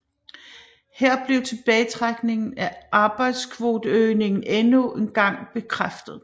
Her blev tilbagetrækningen af arbejdskvoteøgningen endnu engang bekræftet